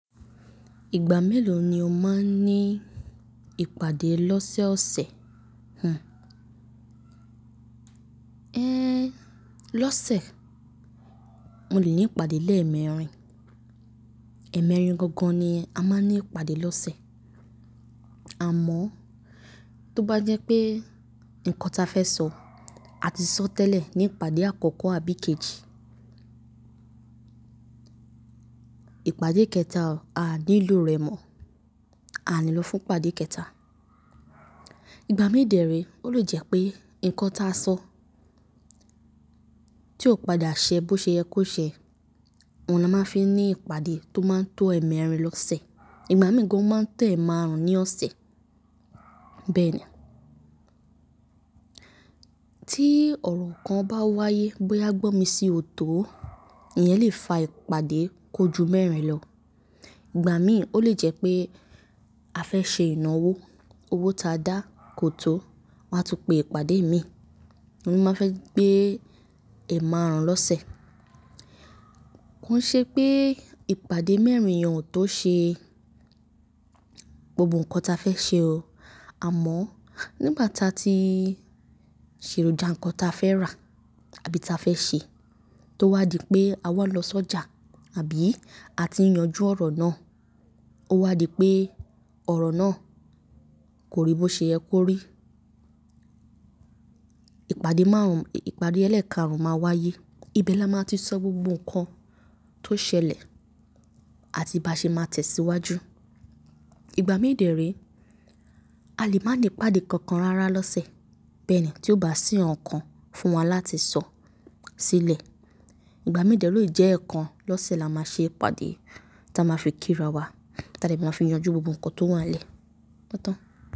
Ìgbà mélòó ni o máa ń ní ìpàdé lọ́sẹ̀ ọ̀sẹ̀? Lọ́sẹ̀, mo lè ní ìpàdé lẹ́ẹ̀mẹrin. Ẹ̀mẹrin gangan ni a máa ń ní ìpàdé lọ́sẹ̀. Àmọ́ tó bá jẹ́ pé nǹkan tí a fẹ́ sọ, a ti sọ tẹ́lẹ̀ ní ìpàdé àkọ́kọ́ àbí kejì, ìpàdé kẹta a nílò rẹ̀ mọ̀, a lè lọ fún ìpàdé kẹta. Ìgbà mí dẹ̀ ree, ó lè jẹ́ pé nǹkan tí a sọ tí ò padà ṣẹ bó ṣe yẹ kó ṣẹ, wọn ni a máa ń fi ní ìpàdé tó máa ń to ẹ̀mẹrin lọ́sẹ̀. Ìgbà mí gangan ó máa ń tẹ ẹ̀ márùn-ún ní ọ̀sẹ̀ bẹ́ẹ̀ ni. Tí ọ̀rọ̀ kan bá wáyé bóyá gbọ́ mi sí ọ̀tọ̀, ìyẹn lè fa ìpàdé kojú mẹ́rin lọ. Ìgbà mí ó lè jẹ́ pé a fẹ́ ṣe ìnáwó, owó tí a dá kò tó, a máa tún pe ìpàdé mìí, wọ́n máa fẹ́ gbé ẹ̀ márùn-ún lọ́sẹ̀. Ó ṣe pé ìpàdé mẹ́rin yen o tó ṣe gbogbo nǹkan tí a fẹ́ ṣe o. Àmọ́ nígbà tí a ti ṣèrù já nǹkan tí a fẹ́ rà àbí tí a fẹ́ ṣe, tó wá di pé a wá lọ sọ́jà àbí a ti yanjú ọ̀rọ̀ náà, ó wá di pé ọ̀rọ̀ náà kò rí bó ṣe ẹ kó rí, ìpàdé márùn-ún, ìpàdé ẹlẹ́ẹ̀kaarún máa wáyé. Ibẹ̀ ni a máa ti sọ gbogbo nǹkan tó ṣẹlẹ̀ àti bá ṣe máa tẹ̀ síwájú. Ìgbà mí dẹ̀ re a lè má ní ìpàdé kankan rárá lọ́sẹ̀ bẹ́ẹ̀ ni tí ó bá sì ọ̀ǹkan fún wa láti sọ sílẹ̀. Ìgbà mí dẹ̀ ni ó lè jẹ́ ẹ̀ kan lọ́sẹ̀ la máa ṣe ìpàdé tí a máa fi kí ra wa, tí a lè máa fi yanjú gbogbo nǹkan tó wà n le o tán.